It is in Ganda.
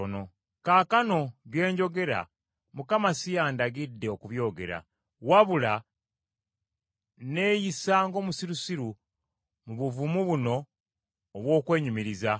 Kaakano bye njogera Mukama si yandagidde okubyogera, wabula neeyisa ng’omusirusiru mu buvumu buno obw’okwenyumiriza.